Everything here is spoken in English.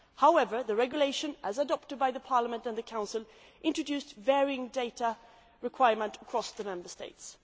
However, the regulation, as adopted by the European Parliament and the Council, introduced varying data requirements across the Member States.